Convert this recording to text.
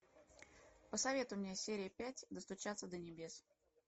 посоветуй мне серия пять достучаться до небес